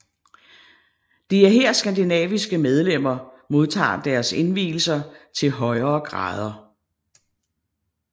Det er her skandinaviske medlemmer modtager deres indvielser til højere grader